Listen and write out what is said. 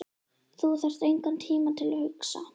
Þú þarft engan tíma til að hugsa.